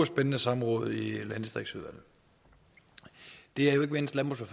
spændende samråd i landdistriktsudvalget det det er jo ikke mindst landbrugs og